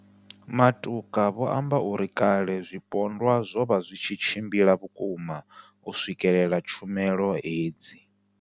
Matuka vho amba uri kale zwipondwa zwo vha zwi tshi tshimbila vhukuma u swikelela tshumelo hedzi.